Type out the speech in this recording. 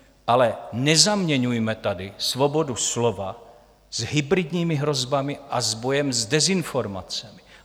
Ale nezaměňujme tady svobodu slova s hybridními hrozbami a s bojem s dezinformacemi.